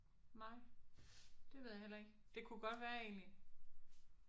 Nej det ved jeg heller ikke. Det kunne godt være egentlig